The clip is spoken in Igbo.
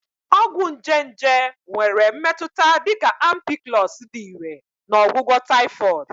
Ọgwụ nje nje nwere mmetụta dị ka Ampiclox dị irè na ọgwụgwọ Typhoid.